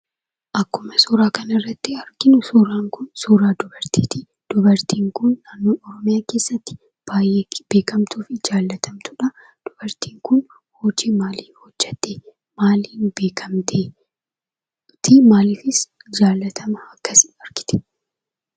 Akkuma, suuraa kanarratti arginu, suuraan kun, suuraa dubartiiti. dubartiin kun, Oromoo biratti baay'ee beekamtuuf jaallatamtudha. maaliif beekamte?,maaliifis jaallatamumma akkasi argatte?